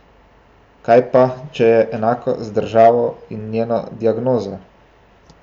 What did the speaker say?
Kaj pa, če je enako z državo in njeno diagnozo?